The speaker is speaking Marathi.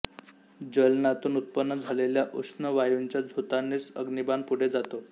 ज्वलनातून उत्पन्न झालेल्या ऊष्ण वायूंच्या झोतानेच अग्निबाण पुढे जातो